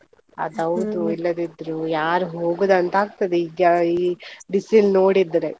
ಅಯ್ಯಬ್ಬ ಅದ್ಹೌದು, ಇಲ್ಲದಿದ್ರು ಯಾರು ಹೋಗೋದು ಅಂತ ಆಗ್ತದೆ ಈಗ ಈ ಬಿಸಿಲು ನೋಡಿದ್ರೆ.